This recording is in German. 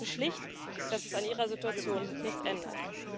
Sie befürchten schlicht, dass es an ihrer Situation nichts ändert.